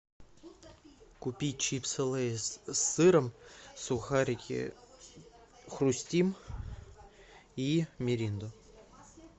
купи чипсы лейс с сыром сухарики хрустим и миринду